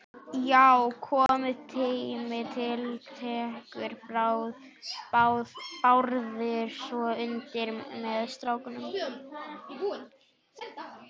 Já, kominn tími til, tekur Bárður svo undir með stráknum.